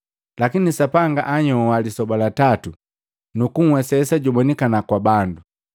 lakini Sapanga anyoa lisoba latatu, nuku nhwesesa jubonikana kwa bandu,